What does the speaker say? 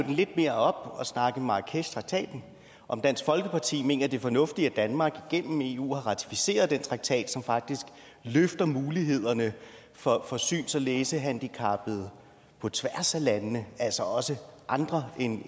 den lidt mere op og snakke om marrakeshtraktaten om dansk folkeparti mener det er fornuftigt at danmark gennem eu har ratificeret den traktat som faktisk løfter mulighederne for for syns og læsehandicappede på tværs af landene altså også andre